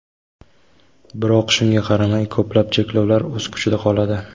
Biroq shunga qaramay, ko‘plab cheklovlar o‘z kuchida qoladi.